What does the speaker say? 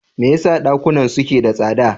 Me yasa dakunan suke da tsada?